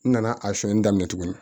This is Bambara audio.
N nana a sonyani daminɛ tuguni